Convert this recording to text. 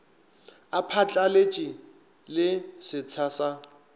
a phatlaletše le setsha sa